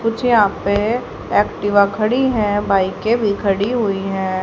कुछ यहां पे एक्टिवा खड़ी हैं बाइके भी खड़ी हुई हैं।